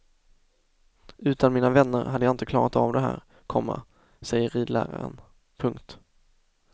Utan mina vänner hade jag inte klarat av det här, komma säger ridläraren. punkt